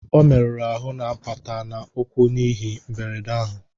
O meruru ahụ n'apata na ukwu n'ihe mgberede ahụ